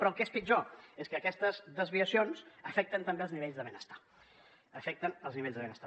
però el que és pitjor és que aquestes desviacions afecten també els nivells de benestar afecten els nivells de benestar